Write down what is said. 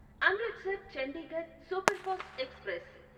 Amritsar Chandigarh superfast express